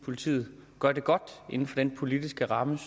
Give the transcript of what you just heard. politiet gør det godt inden for den politiske ramme